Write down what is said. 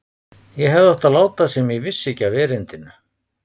Ég hefði átt að láta sem ég vissi ekki af erindinu.